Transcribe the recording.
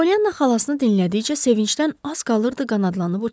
Polyana xalasını dinlədikcə sevincdən az qalırdı qanadlanıb uçsun.